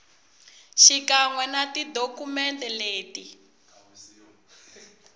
xikan we na tidokumende leti